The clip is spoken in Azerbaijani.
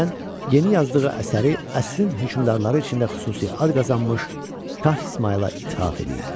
Kürəkən yeni yazdığı əsəri əsrin hökmdarları içində xüsusi ad qazanmış Şah İsmayıla ithaf eləyib.